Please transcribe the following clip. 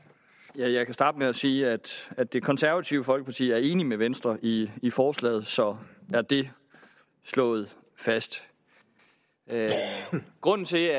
jeg kan starte med at sige at at det konservative folkeparti er enig med venstre i i forslaget så er det slået fast grunden til